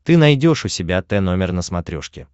ты найдешь у себя тномер на смотрешке